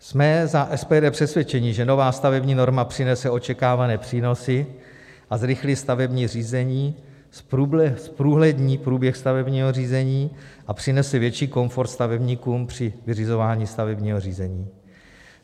Jsme za SPD přesvědčeni, že nová stavební norma přinese očekávané přínosy a zrychlí stavební řízení, zprůhlední průběh stavebního řízení a přinese větší komfort stavebníkům při vyřizování stavebního řízení.